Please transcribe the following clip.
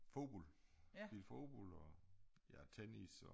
Fodbold spillet fodbold og ja tennis og